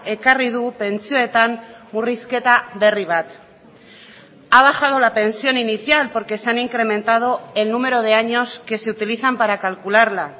ekarri du pentsioetan murrizketa berri bat ha bajado la pensión inicial porque se han incrementado el número de años que se utilizan para calcularla